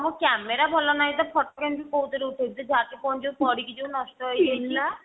ମୋ camera ଭଲ ନାହିଁ ତ photo କେମିତି କଉଥିରେ ଉଠେଇବି ଯେ ଯାହା ତ ଫୋନ ପଡିକି ଯଉ ନଷ୍ଟ ହେଇଯାଇଛି